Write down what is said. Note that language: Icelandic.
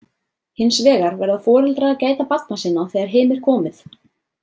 Hins vegar verða foreldrar að gæta barna sinna þegar heim er komið.